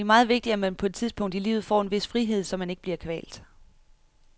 Det er meget vigtigt, at man på et tidspunkt i livet får en vis frihed, så man ikke bliver kvalt.